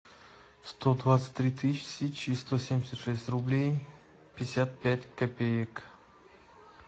сто двадцать три тысячи сто семьдесят шесть рублей пятьдесят пять копеек